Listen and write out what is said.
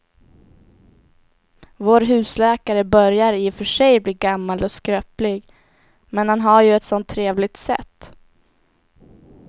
Vår husläkare börjar i och för sig bli gammal och skröplig, men han har ju ett sådant trevligt sätt!